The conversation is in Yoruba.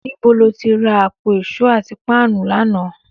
Níbo lo ti ra àpò ìṣó àti páànù lánàá?